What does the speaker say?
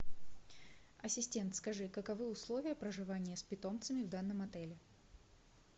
ассистент скажи каковы условия проживания с питомцами в данном отеле